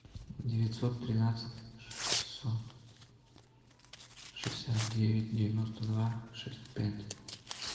девятьсот тринадцать шестьсот шестьдесят девять девяносто два шесть пять